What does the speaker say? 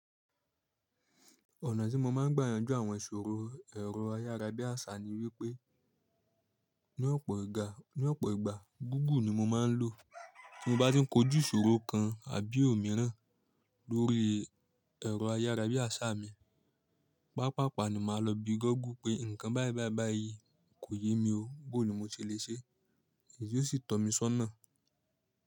Ọ̀nà tí mo máa ń gbà yanjú àwọn ìṣòro ẹ̀rọ ayára bí àṣá ni wípé, ní ọ̀pọ̀ ìgbà, gúùgù ni mo máa ń lò. Tí mo bá tin kòjú ìṣòro kan àbí òmíràn lórí ẹ̀rọ ayárabí àṣá mi, papapa ni màá lọ bí goguu pé nkàn baibai koyemi oo, boni mo tile ṣe, yíò sì tomi sọ́nà.